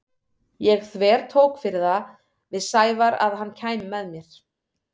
Ég þvertók fyrir það við Sævar að hann kæmi með mér.